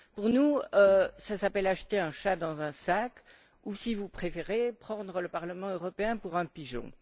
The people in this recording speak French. Pour nous, cela s'appelle acheter un chat dans un sac ou, si vous préférez, prendre le Parlement européen pour un pigeon.